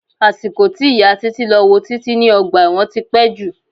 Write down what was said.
Àsìkò tí ìyà títí lọ wo títí ní ọgbà ẹ̀wọ̀n tí pé jù.